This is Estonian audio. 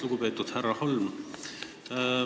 Lugupeetud härra Holm!